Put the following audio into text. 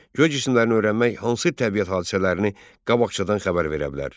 Göycisimlərini öyrənmək hansı təbiət hadisələrini qabaqcadan xəbər verə bilər?